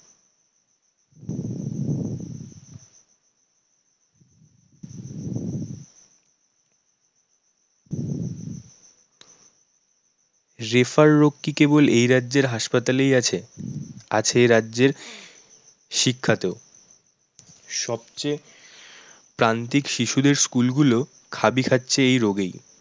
রোগ কি কেবল এই রাজ্যের হাসপাতালেই আছে? আছে এ রাজ্যের শিক্ষাতে সবচেয়ে প্রান্তিক শিশুদের school গুলো খাবি খাচ্ছে এই রোগেই